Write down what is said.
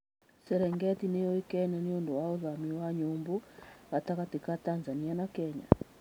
Serengeti nĩ yũĩkaine nĩ ũndũ wa ũthami wa nyũmbũ gatagatĩ ka Tanzania na Kenya.